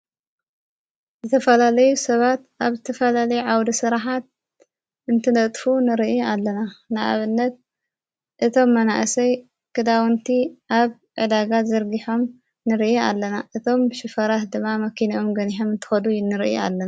ዝተፈላለዩ ሰባት ኣብ ዝትፈለለይ ዓዉዱ ሥራሓት እንትነጥፍ ንርኢ ኣለና ንኣበነት እቶም መናእሰይ ክዳውንቲ ኣብ ዕዳጋት ዘርጊሖም ንርኢ ኣለና እቶም ሽፈራት ድማ መኪንኦም ገኒሖም እንተኸዱ እ እንርኢ ኣለና፡፡